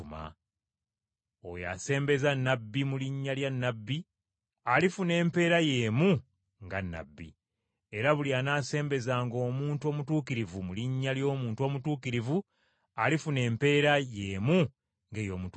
Oyo asembeza nnabbi mu linnya lya nnabbi, alifuna empeera y’emu nga nnabbi. Era buli anaasembezanga omuntu omutuukirivu mu linnya ly’omuntu omutuukirivu, alifuna empeera y’emu ng’ey’omutuukirivu.